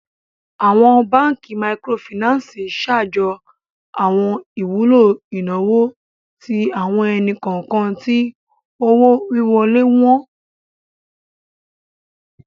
Awọn Bankí Míkírọ̀fínansì ṣáàjó awọn ìwùlọ̀ inawo tí awọn ènì-kọọkan tí owó-wíwọ́lẹ̀ wọn